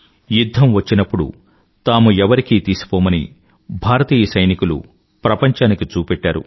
యుధ్ధం వచ్చినప్పుడు తాము ఎవరికీ తీసిపోమని భారతీయ సైనికులు ప్రపంచానికి చూపెట్టారు